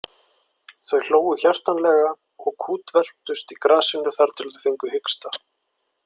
Þau hlógu hjartanlega og kútveltust í grasinu þar til þau fengu hiksta.